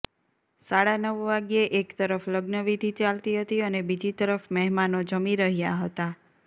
સાડા નવ વાગ્યે એક તરફ લગ્નવિધિ ચાલતી હતી અને બીજી તરફ મહેમાનો જમી રહ્યા હતા